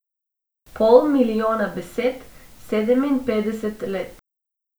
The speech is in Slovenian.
Pol milijona besed, sedeminpetdeset let.